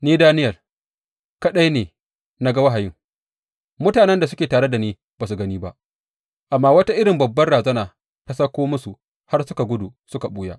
Ni, Daniyel, kaɗai ne na ga wahayin; mutanen da suke tare da ni ba su gani ba, amma wata irin babbar razana ta auko musu har suka gudu suka ɓuya.